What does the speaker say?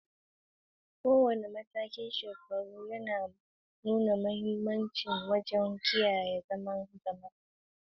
Kowane matakin shekaru yana da manufa ta musamman wajen kiyaye zaman jama'a da jin daɗin jama'a.